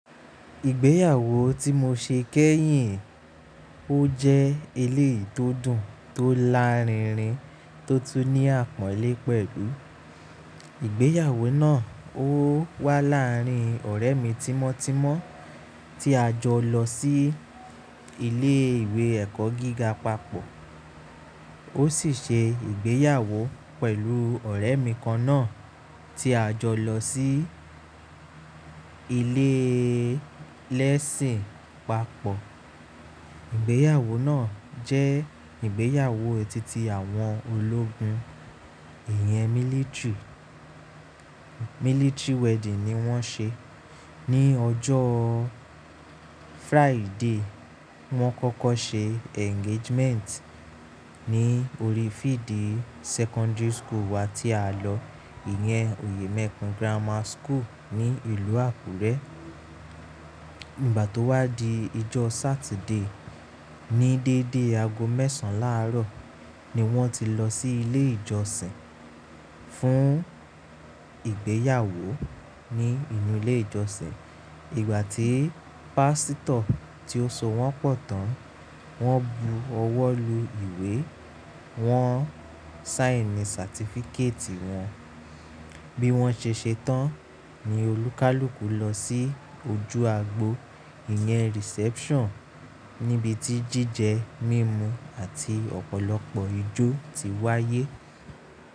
Ìgbéyàwó tí mo ṣe kẹ́yìn, ó jẹ́ eléyi tó dùn tó lárinrin tó tún ní àpọ́nlé pẹ̀lú. Ìgbéyàwó náà ó wá láàárín ọ̀rẹ́ mi tímọ́tímọ́ tí a jọ lọ sí ilé ìwé ẹ̀kọ́ gíga papọ̀. Ó sì ṣe ìgbéyàwó pẹ̀lú ọ̀rẹ́ mi kan náà tí a jọ lọ sí ilé lẹ́ṣìn papọ̀. Ìgbéyàwó náà jẹ́ ìgbéyàwó titi àwọn ológun, ìyẹn military, military wedding ni wọ́n ṣe. Ni ọjọ́ Friday, wọ́n kọ́kọ́ ṣe engagement ní orí field secondary school wa tí a lọ, ìyẹn Òyèmẹ́kùn Grammar School ní ìlú Àkúrẹ́. Nígbà tó wá di ọjọ́ Saturday, ní dédé aago mẹ́sàn láàárọ̀ ni wọ́n ti lọ sí ilé ìjọsìn fún ìgbéyàwó ní inú ilé ìjọsìn. Ìgbà tí pásítọ̀ tí ó so wọ́n pọ̀ tán, wọ́n bu ọwọ́ lu ìwé, wọ́n saini certificate wọn. Bí wọ́n ṣe ṣetán ni olúkálùkù lọ sí ojú agbo, ìyẹn reception níbi tí jíjẹ mímu àti ọ̀pọ̀lọpọ̀ ijó ti wáyé.